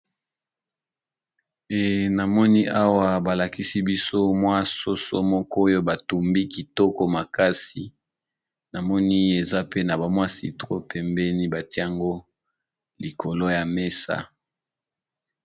Namoni awa balakisi biso mwa soso moko oyo batumbi kitoko makasi namoni eza pe na bamwasitro pembeni batiango likolo ya mesa.